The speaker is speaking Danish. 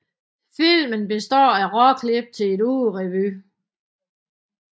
Filmen består af råklip til en ugerevy